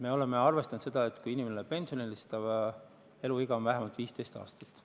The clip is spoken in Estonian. Me oleme arvestanud seda, et kui inimene läheb pensionile, siis ta elab veel vähemalt 15 aastat.